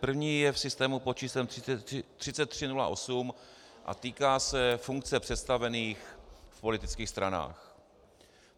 První je v systému pod číslem 3308 a týká se funkce představených v politických stranách.